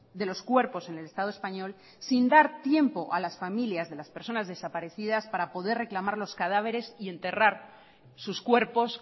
de los cuerpos en el estado español sin dar tiempo a las familias de las personas desaparecidas para poder reclamar los cadáveres y enterrar sus cuerpos